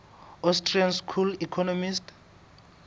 austrian school economists